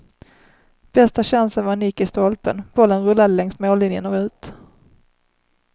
Bästa chansen var en nick i stolpen, bollen rullade längs mållinjen och ut.